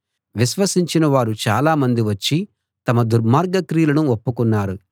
విశ్వసించినవారు చాలా మంది వచ్చి తమ దుర్మార్గ క్రియలను ఒప్పుకున్నారు